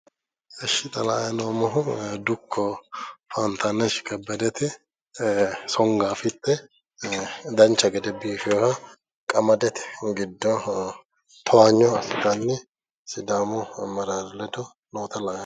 Ishshi xa la'anni noommohu dukko faantaneshi kebbedeti songaafitte dancha gede biiffewoha qamadete gidi giddo towanyo assitanni sidaamu ammeraare ledo noota la'ayi noommo.